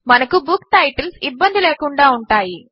మనకు book titles ఇబ్బంది లేకుండా ఉంటాయి